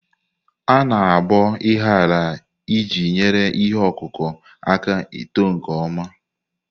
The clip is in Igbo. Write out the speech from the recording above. A-na aboo ahiiya iji nyere ihe ọkụkụ aka ito nke ọma.